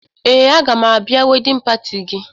Ee, aga m abịa wedịn pati gị